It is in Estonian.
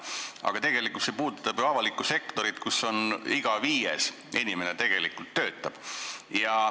Aga see puudutab ju avalikku sektorit, kus töötab iga viies inimene.